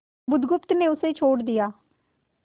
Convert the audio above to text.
बुधगुप्त ने उसे छोड़ दिया